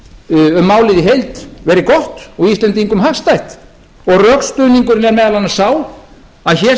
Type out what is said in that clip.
um málið í heild verið gott og íslendingum hagstætt og rökstuðningurinn er meðal annars sá að hér